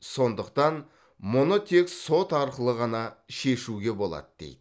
сондықтан мұны тек сот арқылы ғана шешуге болады дейді